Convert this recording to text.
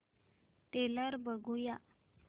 trailer बघूया